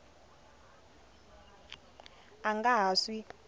a a nga ha swi